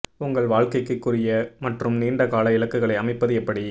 உங்கள் வாழ்க்கைக்கு குறுகிய மற்றும் நீண்ட கால இலக்குகளை அமைப்பது எப்படி